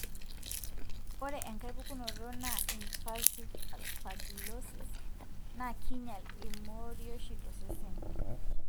ore enkae pukunoto na invasive aspergillosis, na kinyial imorioshi tosesen.